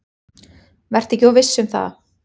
Vertu ekki of viss um það.